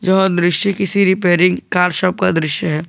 यह दृश्य किसी रिपेयरिंग कार शॉप का दृश्य है।